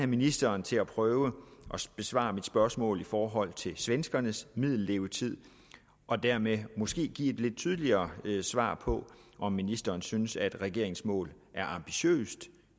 ministeren til at prøve at besvare mit spørgsmål i forhold til svenskernes middellevetid og dermed måske give et lidt tydeligere svar på om ministeren synes at regeringens mål er ambitiøst